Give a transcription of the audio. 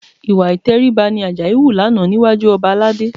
Ìwà ìtẹríba ni Àjàyí hù lánàá níwájú ọba Aládé